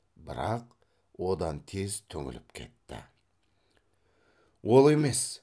бірақ одан тез түңіліп кетті ол емес